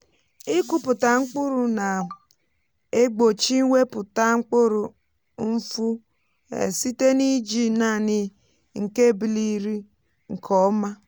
ịkụpụta mkpụrụ na-egbochi iwepụta mkpụrụ nfu um site n’iji naanị nke ebiliri nke ọma.